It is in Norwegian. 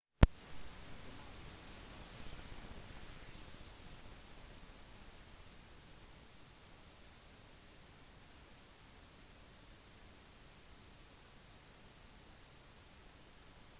diplomater fortalte at de hadde funnet nok uklarheter i den afghanske grunnloven til å fastslå at det ville ikke trenges en omkamp